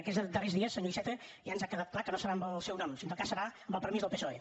no aquests darrers dies senyor iceta ja ens ha quedat clar que no serà en el seu nom en tot cas serà amb el permís del psoe